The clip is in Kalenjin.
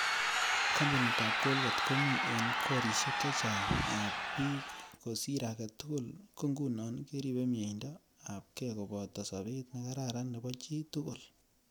Kampunit ap colgate komii ing korishek chechang ap pik ko sir agei tugul ko nguno keripe mieindo ap kei kopoto sobet ne kararan nebo chii tkul.